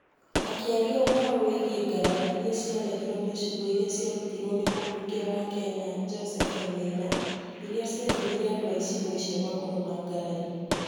Akĩaria ũhoro wĩgiĩ ngarari iria ciarehirũo nĩ ciugo iria ciarutirũo nĩ mumbunge wa Kenya Joseph wainaina, iria ciatũmire andũ a icigo-inĩ icio makorũo na ngarari,